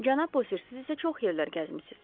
Cənab Bosir, siz isə çox yerlər gəzmisiz.